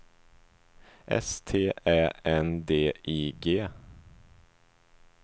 S T Ä N D I G